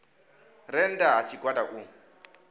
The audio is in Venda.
re nnda ha tshigwada u